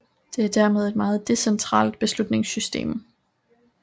Det er dermed et meget decentralt beslutningssystem